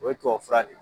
O ye tubabu fura de ye